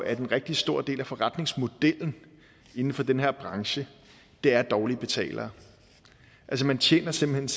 at en rigtig stor del af forretningsmodellen inden for den her branche er dårlige betalere altså man tjener simpelt